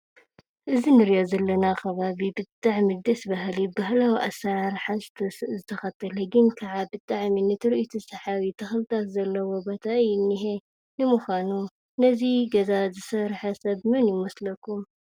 እዚ እንሪኦ ዘለና ከባቢ ብጣዕሚ ደስ ባህሊ ባህላዊ ኣሰራርሓ ዝተከተለ ግን ከዓ ብጣዕሚ ንትርኢቱ ሳሓቢ ተክሊታት ዘለዎ ቦታ እዩ ዝኒሄ። ንምካኑ ነዚ ገዛ እዙይ ዝሰረሐ ሰብ መን ይመስለኩም?